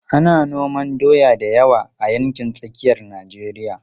Ana noman doya da yawa a yankin tsakiyar Najeriya.